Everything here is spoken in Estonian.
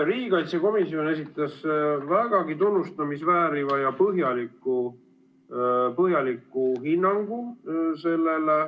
Riigikaitsekomisjon esitas vägagi tunnustamist vääriva ja põhjaliku hinnangu.